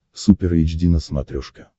супер эйч ди на смотрешке